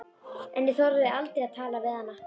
En ég þorði aldrei að tala við hana.